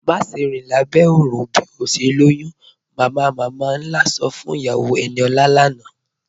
Màṣẹ̀ rin lábẹ́ oòrùn bí o ṣè lọ́yún, "mamamama-nlá sọ́ fún iyàwó Eníọla lánà.